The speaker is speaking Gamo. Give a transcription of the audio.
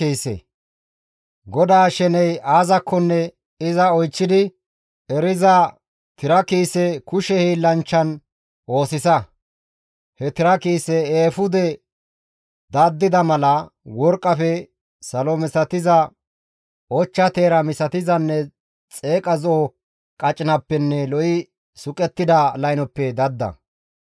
«GODAA sheney aazakkonne iza oychchidi eriza tira kiise kushe hiillanchchan oosisa. He tira kiise eefude daddida mala, worqqafe, salo misatiza, ochcha teera misatizanne xeeqa zo7o qacinappenne lo7i suqettida laynoppe dadda.